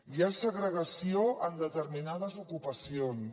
hi ha segregació en determinades ocupacions